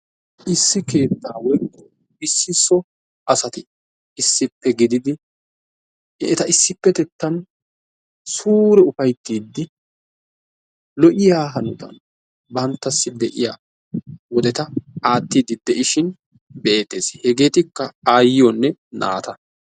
Issi keettaani issi so asati issippe gididi eta issippetettan suure ufayittiidi lo''iya hanotan banttassi de'iya wodeta aattiidi de'ishin be'eettes. Hegeetikka aayyiyonne naata.